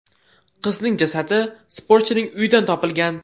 Qizning jasadi sportchining uyidan topilgan.